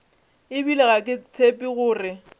ebile ga ke tshepe gore